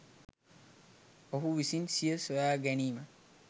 ඔහු විසින් සිය සොයාගැනීම